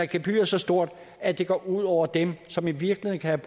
gebyret så stort at det går ud over dem som i virkeligheden kan